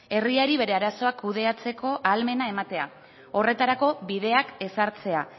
herriari bere arazoak kudeatzeko ahalmena ematea horretarako bideak ezartzea